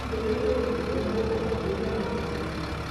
nítorí pé kò sì fẹẹ náwó kankan lórí àwọn ọmọ ni